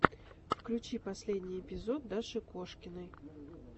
включи последний эпизод даши кошкиной